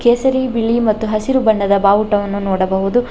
ಕೇಸರಿ ಬಿಳಿ ಮತ್ತು ಹಸಿರು ಬಣ್ಣದ ಬಾವುಟವನ್ನು ನೋಡಬಹುದು.